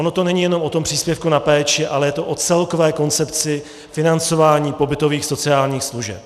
Ono to není jenom o tom příspěvku na péči, ale je to o celkové koncepci financování pobytových sociálních služeb.